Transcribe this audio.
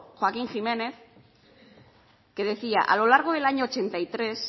joaquín jiménez que decía a lo largo del año mil novecientos ochenta y tres